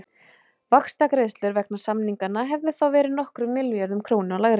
Vaxtagreiðslur vegna samninganna hefðu þá verið nokkrum milljörðum króna lægri.